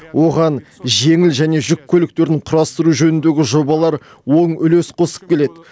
оған жеңіл және жүк көліктерін құрастыру жөніндегі жобалар оң үлес қосып келеді